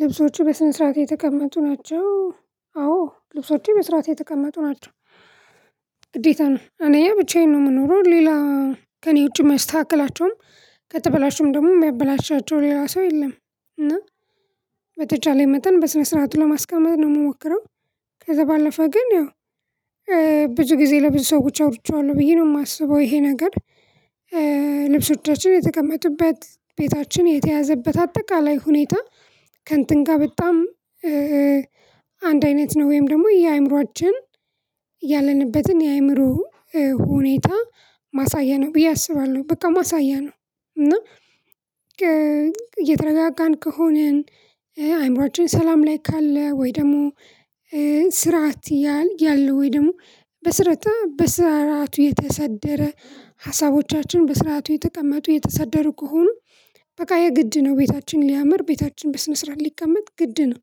ልብሶቹ በስነ ስርዓት የተቀመጡ ናቸው አዎ ልብሶቹ በስርዓት የተቀመጡ ናቸው። ግዴታ ነው አንደኛ ብቻዬን ነው የምኖረው ሌላ ከእኔ ውጪም አያስተካክላቸውም ከተበላሹም ደግሞ የሚያበላሻቸው ሌላው ሰው የለም። እና በተቻለ መጠን በስነ ስርዓቱ ለማስቀመጥ ነው የምሞክረው። ከዛ ባለፈ ግን ያው ብዙ ጊዜ ለብዙ ሰዎች አውርቼዋለሁ ብዬ ነው የማስበው ይሄ ነገር። ልብሶቻችን የተቀመጡበት ቤታችን የተያዘበት አጠቃላይ ሁኔታ ከእንትን ጋር በጣም አንድ አይነት ነው ወይም ደግሞ የአይምሮአችን ያለንበትን የአእምሮ ሁኔታ ማሳያ ነው ብዬ አስባለሁ። በቃ ማሳያ ነው። እና የተረጋጋን ከሆንን አይምሮአችን ሰላም ላይ ካለ ወይ ደግሞ ስርዓት ያል ያለው ወይ ደግሞ በስርተ በስራቱ የተሰደረ ሀሳቦቻችን በስርዓቱ የተቀመጡ የተሰደሩ ከሆኑ በቃ የግድ ነው። ቤታችን ሊያምር ቤታችን በስነ ስርዓት ሊቀመጥ ግድ ነው።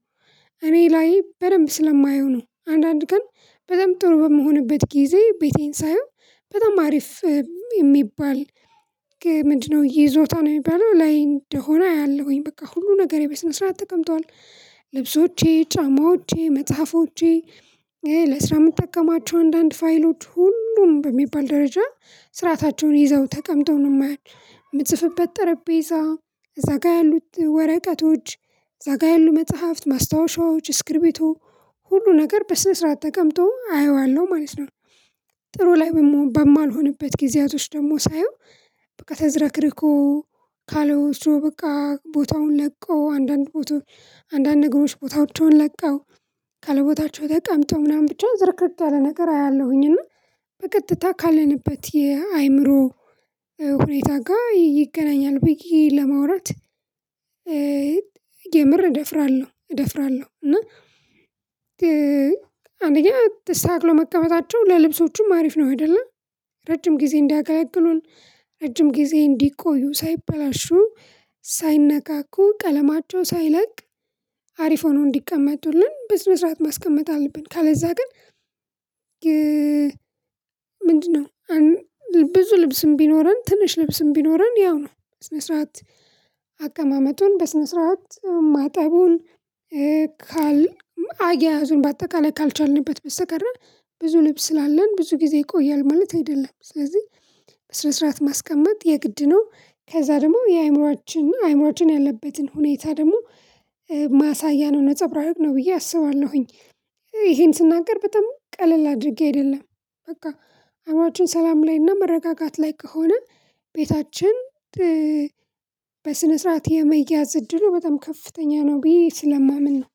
እኔ ላይ በደንብ ስለማየው ነው አንዳንድ ቀን በጣም ጥሩ በምሆንበት ጊዜ ቤቴን ሳየው በጣም አሪፍ። የሚባል ምንድነው? ይዞታ ነው የሚባለው ላይ እንደሆነ አያለሁኝ በቃ ሁሉ ነገሬ በስነ ስርዓት ተቀምጧል። ልብሶቼ ጫማዎቼ መጽሐፎቼ ለስራ የምትጠቀማቸው አንዳንድ ፋይሎች ሁሉም በሚባል ደረጃ ስርአታቸውን ይዘው ተቀምጠው ነው የማያ። የምጽፍበት ጠረጴዛ እዛ ጋር ያሉት ወረቀቶች እዛ ጋር ያሉ መጽሐፍት ማስታወሻዎች ስክሪቢቶ ሁሉ ነገር በስነ ስርዓት ተቀምጦ አየዋለሁ ማለት ነው። ጥሩ ላይ በም በማልሆንበት ጊዜያቶች ደግሞ ሳየው በቃ ተዘረክርኮ ካለው እሱ በቃ ቦታውን ለቀው አንዳንድ ቦታ አንዳንድ ነገሮች ቦታቸውን ለቀው ካለቦታቸው ተቀምጠው ምናምን ብቻ ዝርክርክ ያለ ነገር አያለሁኝ። እና በቀጥታ ካለንበት የአይምሮ ሁኔታ ጋር ይገናኛል ብየ ለማውራት የምር እደፍራለሁ እደፍራለሁ እና። አንደኛ ተስተታክሎ መቀመጣቸው ለልብሶቹም አሪፍ ነው አይደለ ረጅም ጊዜ እንዲያገለግሉን ረጅም ጊዜ እንዲቆዩ ሳይበላሹ ሳይነካኩ ቀለማቸው ሳይለቅ አሪፍ ሆኖ እንዲቀመጡልን በስነ ስርዓት ማስቀመጥ አለብን። ካለዛ ግን ምንድነው? ብዙ ልብስም ቢኖረን ትንሽ ልብስም ቢኖረን ያው ነው ስነ ስርዓት አቀማመጡን በስነ ስርዓት ማጠቡን ካል አያያዙን በአጠቃላይ ካልቻልንበት በስተቀር ብዙ ልብስ ስላለን ብዙ ጊዜ ይቆያል ማለት አይደለም። ስለዚህ በስነ ስርዓት ማስቀመጥ የግድ ነው ከዛ ደግሞ የአይምሮችን አይምሮችን ያለበትን ሁኔታ ደግሞ ማሳያ ነው ነፀብራቅ ነው ብዬ አስባለሁኝ። ይሄን ስናገር በጣም ቀለል አድርጌ አይደለም በቃ አይምሮችን ሰላም ላይና መረጋጋት ላይ ከሆነ ቤታችን በስነ ስርዓት የመያዝ እድሉ በጣም ከፍተኛ ነው ብዬ ስለማምን ነው።